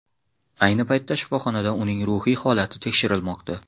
Ayni paytda shifoxonada uning ruhiy holati tekshirilmoqda.